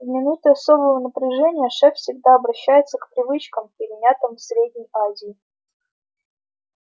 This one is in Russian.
в минуты особого напряжения шеф всегда обращается к привычкам перенятым в средней азии